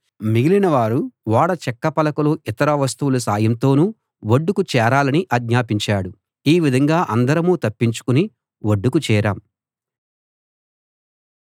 మిగిలినవారు ఓడ చెక్క పలకలు ఇతర వస్తువుల సాయంతోనూ ఒడ్డుకు చేరాలని ఆజ్ఞాపించాడు ఈ విధంగా అందరం తప్పించుకుని ఒడ్డుకు చేరాం